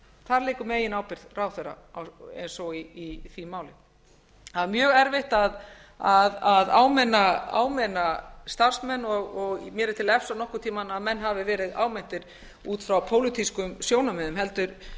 þar liggur meginábyrgð ráðherra eins og í því máli það er mjög erfitt að áminna starfsmenn og mér er til efs að nokkurn tíma hafi menn verið áminntir út frá pólitískum sjónarmiðum heldur